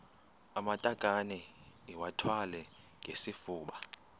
amatakane iwathwale ngesifuba